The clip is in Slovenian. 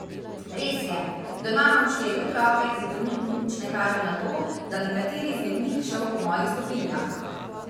Res je, doma imam štiri otroke in trenutno nič ne kaže na to, da bi kateri izmed njih šel po mojih stopinjah.